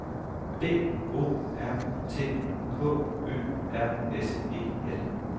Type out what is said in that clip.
B O R T K Ø R S E L